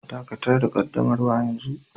Dakatar da ƙaddamarwa yanzu